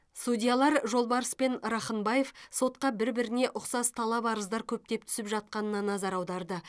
судьялар жолбарыс пен рахынбаев сотқа бір біріне ұқсас талап арыздар көптеп түсіп жатқанына назар аударды